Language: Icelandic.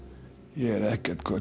ég er ekkert